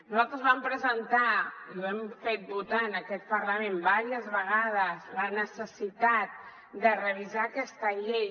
nosaltres vam presentar i ho hem fet votar en aquest parlament diverses vegades la necessitat de revisar aquesta llei